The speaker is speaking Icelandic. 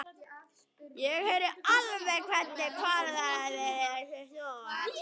Ég heyri alveg hvernig kvarnirnar í þér snúast.